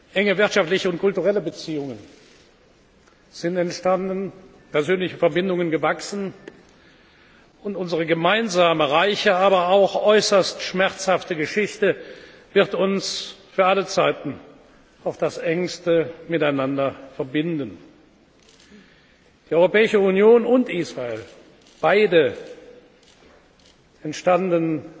Enge wirtschaftliche und kulturelle Beziehungen sind entstanden, persönliche Verbindungen gewachsen und unsere gemeinsame reiche, aber auch äußerst schmerzhafte Geschichte wird uns für alle Zeiten auf das Engste miteinander verbinden. Die Europäische Union und Israel beide entstanden